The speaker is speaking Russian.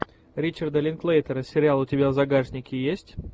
ричарда линклейтера сериал у тебя в загашнике есть